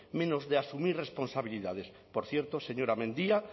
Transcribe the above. menos de asumir responsabilidades por cierto señora mendia